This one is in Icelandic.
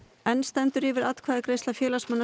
enn stendur yfir atkvæðagreiðsla félagsmanna